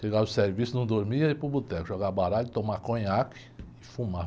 Chegava do serviço, não dormia e ia para o boteco, jogar baralho, tomar conhaque e fumar.